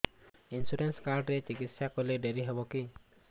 insurance card ରେ ଚିକିତ୍ସା କଲେ ଡେରି ହବକି